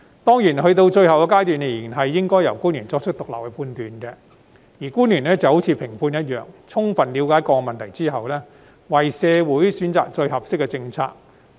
當然，到了最後階段，仍然應該由官員作出獨立判斷，而官員就好像評判一樣，在充分了解各個問題後，為社會選擇最合適的政策。